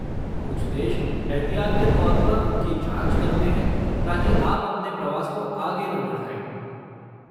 कुछ देश एहतियात के तौर पर उनकी जाँच करते हैं ताकि आप अपने प्रवास को आगे न बढ़ाएँ।